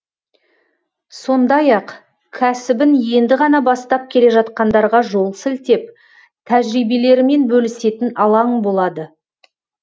сондай ақ кәсібін енді ғана бастап келе жатқандарға жол сілтеп тәжірибелерімен бөлісетін алаң болады